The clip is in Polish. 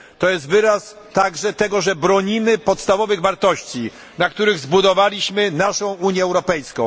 Jest to także wyraz tego, że bronimy podstawowych wartości, na których zbudowaliśmy naszą Unię Europejską.